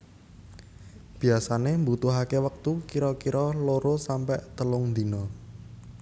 Biasane mbutuhake wektu kira kira loro sampe telung dina